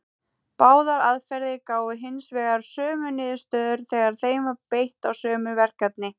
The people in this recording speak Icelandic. Báðar aðferðir gáfu hins vegar sömu niðurstöður þegar þeim var beitt á sömu verkefnin.